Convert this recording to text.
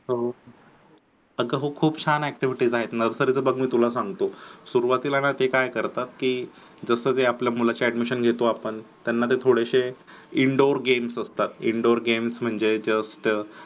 हो अगं हो खूप छान activities आहेत मग तर बघ मी तुला सांगतो सुरूवातीला ते काय करतात की जसं ते आपल्या मुलाचे admission घेतो आपण त्यांना ते थोडेसे indoor games असतात indoor games म्हणजे जग तग